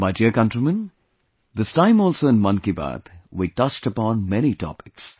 My dear countrymen, this time also in 'Mann Ki Baat' we touched upon many topics